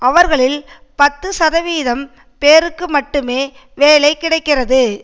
அவர்களில் பத்து சதவீதம் பேருக்கு மட்டுமே வேலை கிடைக்கிறது